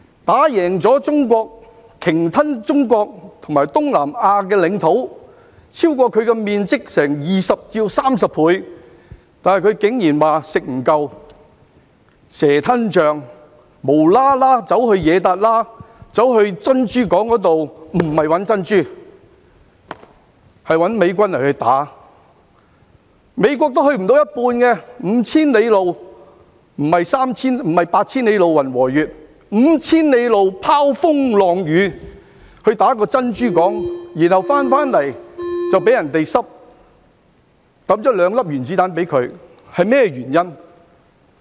打贏中國，鯨吞中國和東南亞的領土，超過其土地面積20倍至30倍，但她竟然說"食不夠"，蛇吞象，"無啦啦走去惹撻瘌"，前去珍珠港，不是找珍珠，而是打美軍，美國也去不到一半 ，5,000 里路——不是八千里路雲和月——拋風浪雨，他們攻打珍珠港，然後回來後卻被人投擲兩顆原子彈，是甚麼原因呢？